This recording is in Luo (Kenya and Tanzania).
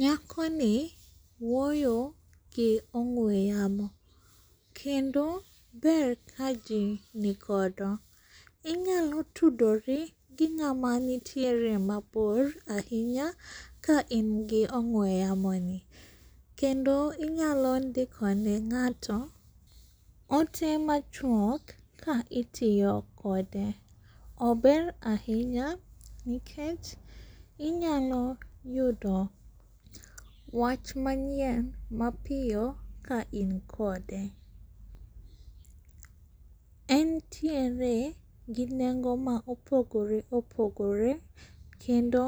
Nyakoni wuoyogi ong'we yamo. Kendo ber ka jii ni godo inyalo tudori gi ng'ama nitiere mabor ahinya ka ingi ong'we yamoni. Kendo inyalo ndikone ng'ato ote machuok ka itiyo kode. Ober ahinya nikech inyalo yudo wach manyien mapiyo ka in kode. Entiere gi nengo ma opogore opogore kendo